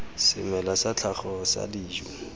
semela sa tlhago sa dijo